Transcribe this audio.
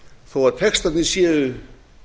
þó að textarnir séu